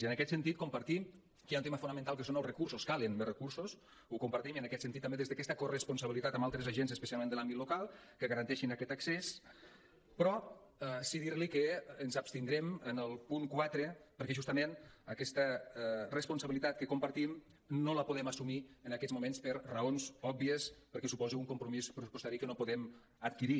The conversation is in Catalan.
i en aquest sentit compartim que hi ha un tema fonamental que són els recursos calen més recursos ho compartim i en aquest sentit també des d’aquesta corresponsabilitat amb altres agents especialment de l’àmbit local que garanteixin aquest accés però sí dir li que ens abstindrem en el punt quatre perquè justament aquesta responsabilitat que compartim no la podem assumir en aquests moments per raons òbvies perquè suposa un compromís pressupostari que no podem adquirir